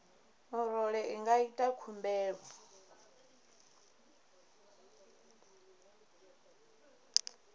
murole i nga ita khumbelo